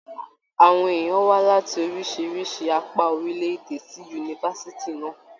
Àwọn èèyàn wá láti oríṣiríṣi apá orilẹ-èdè sí yunifásítì náà.